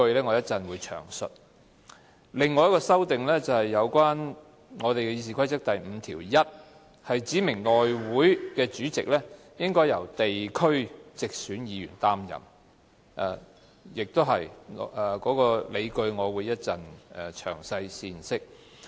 另一項修訂是關於《議事規則》第51條，指明內務委員會主席須由地區直選議員擔任，有關的理據我同樣會於稍後闡釋。